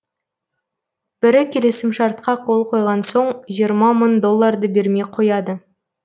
бірі келісімшартқа қол қойған соң жиырма мың долларды бермей қояды